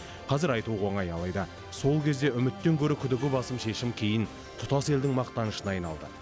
қазір айтуға оңай алайда сол кезде үміттен гөрі күдігі басым шешім кейін тұтас елдің мақтанышына айналды